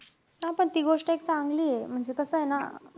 हां. पण ती गोष्ट एक चांगलीय. म्हणजे कसंय ना,